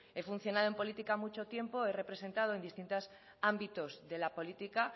he funcionado en política mucho tiempo he representado en distintos ámbitos de la política